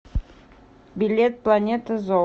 билет планета зо